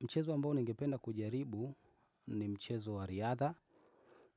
Mchezo ambao ningependa kujaribu ni mchezo wa riadha.